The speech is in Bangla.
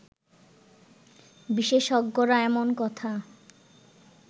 বিশেষজ্ঞরা এমন কথা